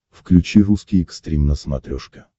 включи русский экстрим на смотрешке